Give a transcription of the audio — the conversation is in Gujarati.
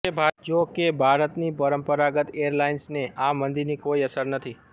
જોકે ભારતની પરંપરાગત એરલાઈન્સને આ મંદીની કોઈ અસર નથી